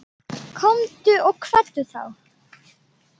Komdu og kveddu þá.